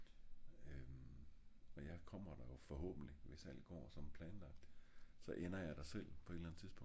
øhm men jeg kommer der jo forhåbentligt hvis alt går som planlagt så ender jeg jo der selv på et eller andet tidspunkt ik